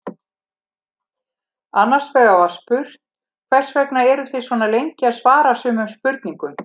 Annars vegar var spurt Hvers vegna eruð þið svona lengi að svara sumum spurningum?